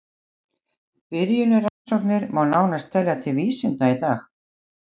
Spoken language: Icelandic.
Byrjunarrannsóknir má nánast telja til vísinda í dag.